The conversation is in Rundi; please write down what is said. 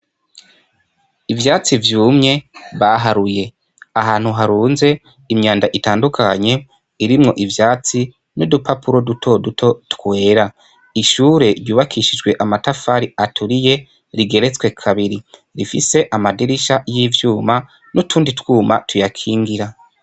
Ivyatsi vyumye baharuye ahantu harunze imyanda itandukanye irimwo ivyatsi n'udupapuro duto duto twera ishure ryubakishijwe amatafari aturiye rigeretswe kabiri rifise amadirisha y'ivyuma n'utundi twuma tuyakingira.